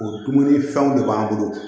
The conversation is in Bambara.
O dumuni fɛnw de b'an bolo